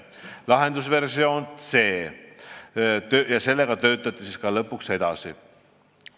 Lahendusversiooniga C töötati lõpuks edasi.